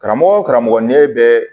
Karamɔgɔ karamɔgɔ ɲɛ bɛ